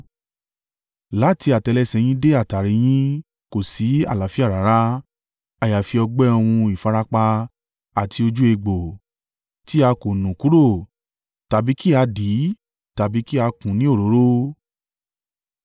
Láti àtẹ́lẹsẹ̀ yín dé àtàrí yín kò sí àlàáfíà rárá, àyàfi ọgbẹ́ òun ìfarapa àti ojú egbò, tí a kò nù kúrò tàbí kí á dì tàbí kí a kùn ún ní òróró.